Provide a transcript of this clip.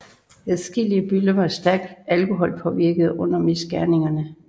Adskillige bøller var stærkt alkoholpåvirkede under misgerningerne